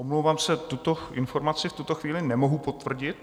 Omlouvám se, tuto informaci v tuto chvíli nemohu potvrdit.